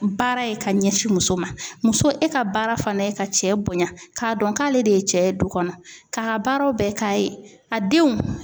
Baara ye ka ɲɛsin muso ma muso e ka baara fɛnɛ ye ka cɛ bonya k'a dɔn k'ale de ye cɛ ye du kɔnɔ k'a ka baaraw bɛɛ k'a ye a denw